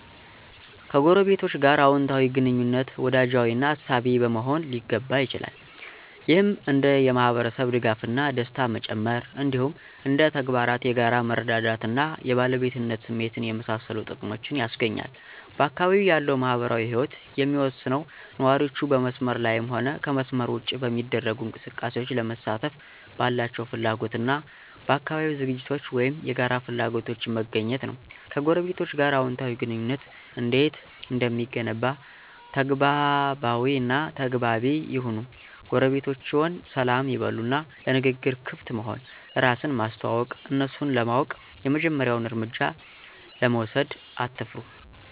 ከጎረቤቶች ጋር አወንታዊ ግንኙነት፣ ወዳጃዊ እና አሳቢ በመሆን ሊገነባ ይችላል። ይህም እንደ የማህበረሰብ ድጋፍ እና ደስታ መጨመር፣ እንዲሁም እንደ ተግባራት የጋራ መረዳዳት እና የባለቤትነት ስሜትን የመሳሰሉ ጥቅሞችን ያስገኛል። በአካባቢው ያለው ማህበራዊ ህይወት የሚወሰነው ነዋሪዎቹ በመስመር ላይም ሆነ ከመስመር ውጭ በሚደረጉ እንቅስቃሴዎች ለመሳተፍ ባላቸው ፍላጎት እና በአካባቢያዊ ዝግጅቶች ወይም የጋራ ፍላጎቶች መገኘት ነው። ከጎረቤቶቸ ጋር አዎንታዊ ግንኙነት እንዴት እንደሚገነባ ተግባቢ እና ተግባቢ ይሁኑ ጎረቤቶችዎን ሰላም ይበሉ እና ለንግግር ክፍት መሆን፣ እራስን ማስተዋወቅ፣ እነሱን ለማወቅ የመጀመሪያውን እርምጃ ለመውሰድ አትፍሩ።